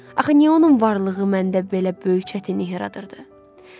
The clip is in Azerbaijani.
Axı niyə onun varlığı məndə belə böyük çətinlik yaradırdı?